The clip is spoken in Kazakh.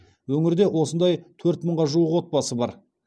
өңірде осындай төрт мыңға жуық отбасы бар